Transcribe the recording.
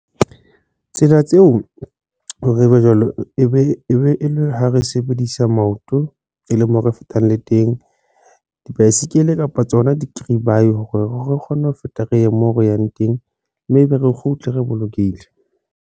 Tsela tseo hore ebe jwalo e be e le ho re sebedisa maoto e le mo re fetang le teng dibaesekele kapa tsona dikiribae hore re kgonne ho feta re ye moo re yang teng mme ebe re kgutle, re bolokehile.